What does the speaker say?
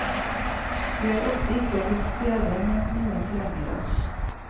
Vi er ofte ikke til stede når noen trenger oss.